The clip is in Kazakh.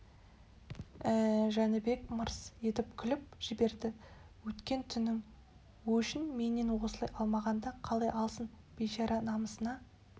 ә-ә жәнібек мырс етіп күліп жіберді өткен түннің өшін менен осылай алмағанда қалай алсын бейшара намысына